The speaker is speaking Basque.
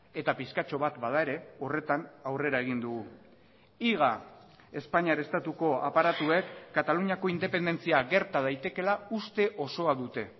eta pixkatxo bat bada ere horretan aurrera egin dugu higa espainiar estatuko aparatuek kataluniako independentzia gerta daitekeela uste osoa dute